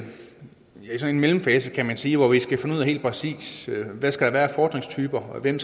en mellemfase kan man sige hvor vi skal finde helt præcis skal være af fordringstyper og hvem